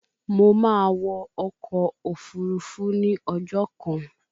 Mo máa wọ ọkọ̀ òfurufú ní ọjọ́ kan